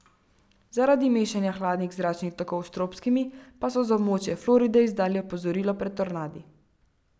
Zaradi mešanja hladnih zračnih tokov s tropskimi pa so za območje Floride izdali opozorilo pred tornadi.